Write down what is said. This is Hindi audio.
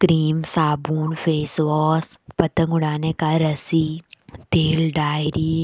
क्रीम साबुन फेस वॉश पतंग उड़ाने का रस्सी तेल डायरी --